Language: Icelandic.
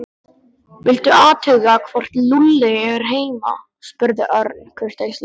Viltu athuga hvort Lúlli er heima spurði Örn kurteislega.